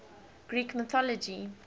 greek mythology